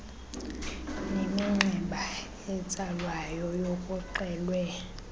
neminxeba etsalwayo kuxelwe